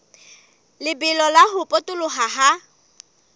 lebelo la ho potoloha ha